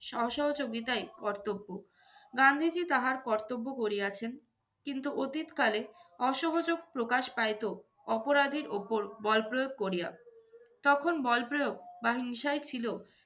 অ~ অসহযোগিতাই কর্তব্য। গান্ধীজি তাহার কর্তব্য করিয়াছেন কিন্তু অতীতকালে অসহযোগ প্রকাশ পাইতো অপরাধীর ওপর বলপ্রয়োগ করিয়া। তখন বলপ্রয়োগ বা হিংসাই ছিল